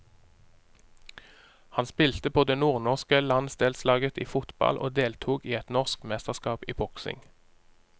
Han spilte på det nordnorske landsdelslaget i fotball og deltok i et norsk mesterskap i boksing.